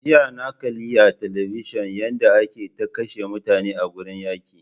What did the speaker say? Jiya na kalli a television yanda ake ta kashe mutane a gurin yaƙi